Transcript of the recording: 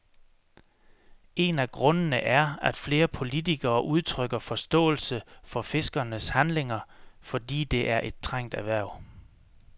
En af grundene er, at flere politikere udtrykker forståelse for fiskernes handlinger, fordi det er et trængt erhverv.